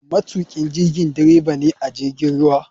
Matukin jirigi dreba ne a jirgin ruwa.